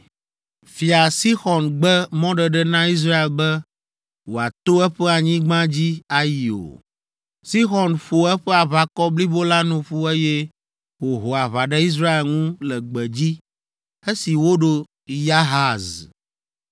Fia Sixɔn gbe mɔɖeɖe na Israel be wòato eƒe anyigba dzi ayi o. Sixɔn ƒo eƒe aʋakɔ blibo la nu ƒu eye wòho aʋa ɖe Israel ŋu le gbedzi esi woɖo Yahaz.